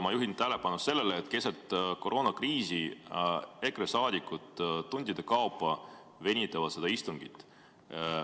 Ma juhin tähelepanu sellele, et keset koroonakriisi EKRE saadikud tundide kaupa venitavad seda istungit.